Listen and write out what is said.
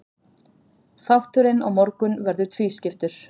Þátturinn á morgun verður tvískiptur.